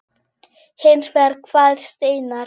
Hins vegar kvaðst Einar